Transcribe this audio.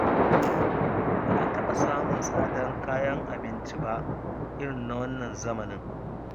Ba a taɓa samun tsadar kayan abinci ba irin na wannan zamanin.